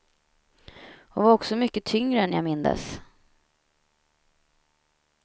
Han var också mycket tyngre än jag mindes.